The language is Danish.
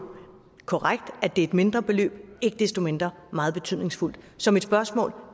korrekt at det er et mindre beløb men ikke desto mindre meget betydningsfuldt så mit spørgsmål er